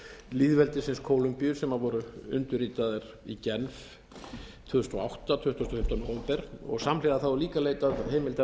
lýðveldisins kólumbíu sem voru undirritaðir í genf tvö þúsund og átta tuttugasta og fimmta nóvember og samhliða var líka leitað heimildar til þess